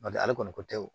N'o tɛ ale kɔni ko tɛ o